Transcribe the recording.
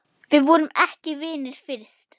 Við vorum ekki vinir fyrst.